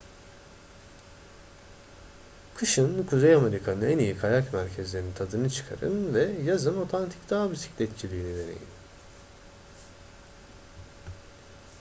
kışın kuzey amerika'nın en iyi kayak merkezlerinin tadını çıkarın ve yazın otantik dağ bisikletçiliğini deneyin